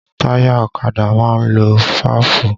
Táyà ọ̀kadà máa ń lo fáàfù